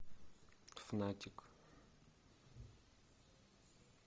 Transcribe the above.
фанатик